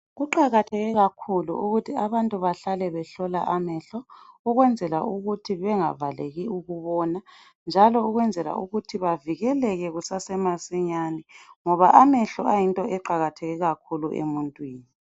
kuqakatheke kakhulu ukuthi abantu bahlale behlola amehlo ukwenzela ukuthi bengavaleki ukubona njalo kwenzela ukuthi bavikeleke kusase masinyane ngoba amehlo ayinto eqakatheke kakhulu emuntwini